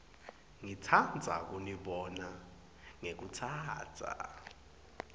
ngitsandza kunibonga ngekutsatsa